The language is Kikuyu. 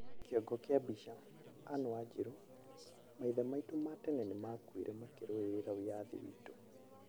kĩongo kĩa mbica, Anne Wanjiru: Maithe maitũ ma tene nĩ maakuire makĩrũĩrĩra wĩyathi witũ.